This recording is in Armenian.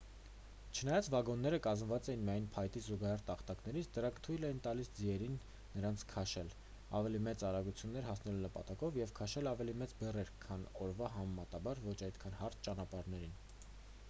չնայած վագոնները կազմված էին միայն փայտի զուգահեռ տախտակներից դրանք թույլ էին տալիս ձիերին նրանց քաշել ավելի մեծ արագությունների հասնելու նպատակով և քաշել ավելի մեծ բեռներ քան օրվա համեմատաբար ոչ այդքան հարթ ճանապարհներին